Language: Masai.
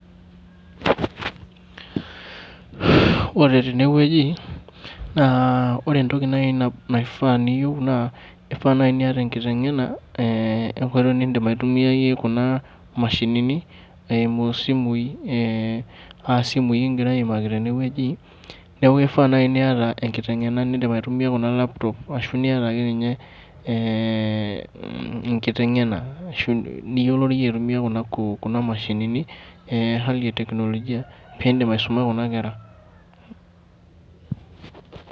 Ore tenewueji naa ore entoki naai naifaa niyieu naa ifaa naai niata enkiteng'ena e nkoitoi niindim aitumiayie kuna mashinini eimu isimui aa simui kigira aimaki tene wueji. Neeku ifaa naai niata enkiteng'ena niindim aitumia kuna laptop ashu niata ake ninye enkiteng'ena niyioloriyie aitumia kuna mashinini e Hali e teknolojia piindim aisuma kuna kera